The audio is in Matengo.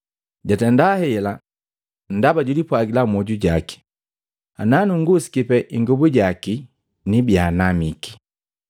Jatenda hela, ndaba julipwagila mmwoju jaki, “Nanung'usiki tu ingobu yaki nibia namiki.”